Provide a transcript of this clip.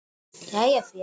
Jæja félagi!